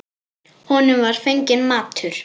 Honum var fenginn matur.